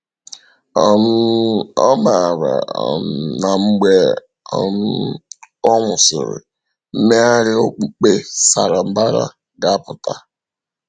um O maara um na mgbe um ọ nwụsịrị, mmegharị okpukpe sara mbara ga-apụta.